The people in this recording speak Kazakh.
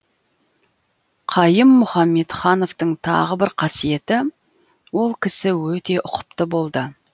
қайым мұхамедхановтың тағы бір қасиеті ол кісі өте ұқыпты болды